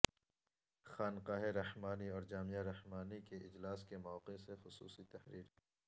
خانقاہ رحمانی اور جامعہ رحمانی کے اجلاس کے موقع سے خصوصی تحریر